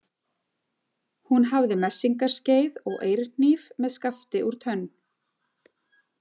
Hún hafði messingarskeið og eirhníf með skafti úr tönn.